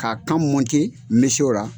K'a kan mi se o ra.